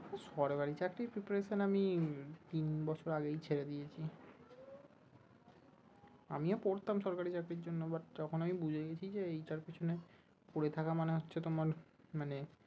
সরকারি চাকরির preparation আমি উম তিন বছর আগেই ছেড়ে দিয়েছি, আমিও পড়তাম সরকারি চাকরির জন্য but যখন আমি বুঝে গেছি যে এইটার পিছনে পড়ে থাকা মানে হচ্ছে তোমার মানে